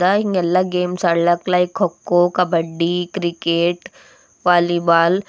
the- ಹಿಂಗೆಲ್ಲ games ಆಡ್ಲಾಕ್ like kho kho kabaddi cricket volleyball --